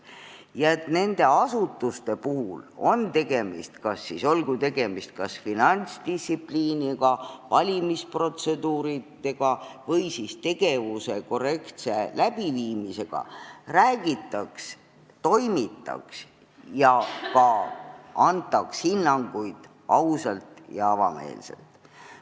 Tähtis on, et nende asutuste puhul, on siis tegemist finantsdistsipliini, valimisprotseduuride või tegevusprotsessi korrektse läbiviimisega, räägitaks, toimitaks ja antaks ka hinnanguid ausalt ja avameelselt.